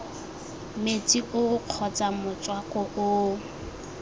metsi oo kgotsa motswako oo